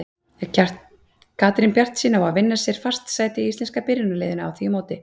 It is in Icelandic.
Er Katrín bjartsýn á að vinna sér fast sæti í íslenska byrjunarliðinu á því móti?